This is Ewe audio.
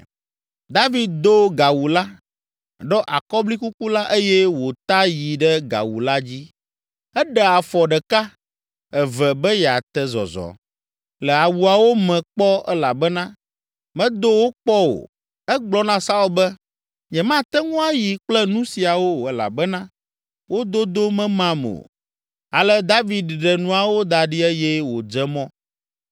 David do gawu la, ɖɔ akɔblikuku la eye wòta yi ɖe gawu la dzi. Eɖe afɔ ɖeka, eve be yeate zɔzɔ le awuawo me kpɔ elabena medo wo kpɔ o. Egblɔ na Saul be, “Nyemate ŋu ayi kple nu siawo o elabena wo dodo memam o.” Ale David ɖe nuawo da ɖi eye wòdze mɔ.